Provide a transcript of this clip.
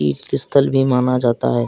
तीर्थ स्थल भी माना जाता है।